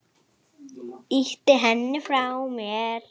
Ýti henni frá mér.